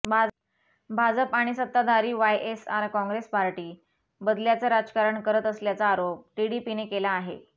भाजप आणि सत्ताधारी YSR Congress party बदल्याचं राजकारण करत असल्याचा आरोप टीडीपीने केला आहे